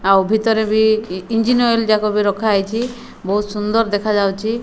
ଆଉ ଭିତରେ ବି ଇ ଇଞ୍ଜିନ୍ ଅଏଲ୍ ଯାକ ବି ରଖା ହେଇଛି ବହୁତ୍ ସୁନ୍ଦର ଦେଖାଯାଉଛି।